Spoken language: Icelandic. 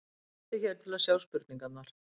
Smelltu hér til að sjá spurningarnar